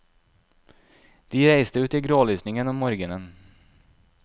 De reiste ut i grålysningen om morgenen.